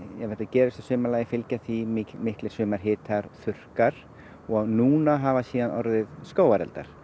ef þetta gerist að sumarlagi fylgja því miklir sumarhitar þurrkar og núna hafa orðið skógareldar